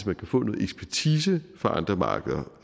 man kan få noget ekspertise fra andre markeder